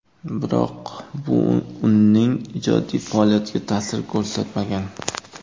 Biroq bu uning ijodiy faoliyatiga ta’sir ko‘rsatmagan.